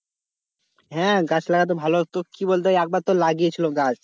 হ্যাঁ গাছ লাগাতে ভালো হতো তোর কি বলতো একবার তো লাগিয়েছিল গাছ,